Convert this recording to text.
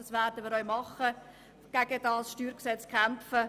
Das werden wir auch tun und gegen das StG kämpfen.